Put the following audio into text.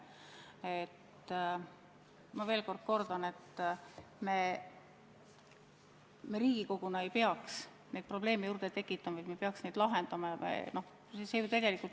Ma veel kord kordan, et me Riigikoguna ei peaks probleeme juurde tekitama, me peaks neid lahendama.